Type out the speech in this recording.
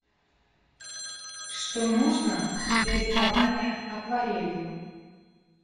что нужно для рисования акварелью